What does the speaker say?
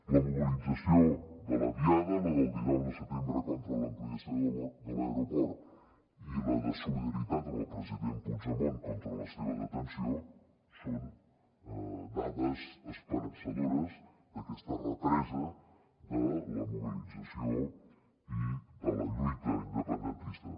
la mobilització de la diada la del dinou de setembre contra l’ampliació de l’aeroport i la de solidaritat amb el president puigdemont contra la seva detenció són dades esperançadores d’aquesta represa de la mobilització i de la lluita independentista